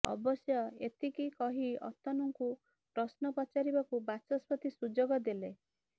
ଅବଶ୍ୟ ଏତିକି କହି ଅତନୁଙ୍କୁ ପ୍ରଶ୍ନ ପଚାରିବାକୁ ବାଚସ୍ପତି ସୁଯୋଗ ଦେଲେ